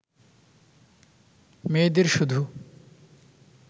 মেয়েদের শুধু